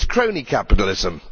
it is crony capitalism.